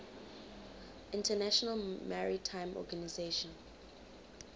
international maritime organization